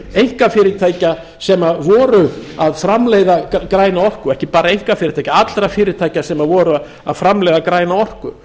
einkafyrirtækja sem voru að framleiða græna orku ekki bara einkafyrirtækja allra fyrirtækja sem voru að framleiða græna orku